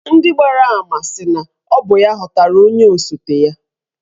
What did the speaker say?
Ndị gbara ama sị na ọ bụ ya họpụtara onye osote ya.